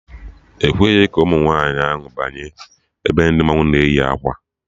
Ekweghị ka nwaanyị ahụ banye ebe ndị mmanwụ na eyi akwa